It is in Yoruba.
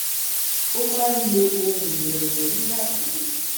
ó maa n lo ohun irele nígbà tó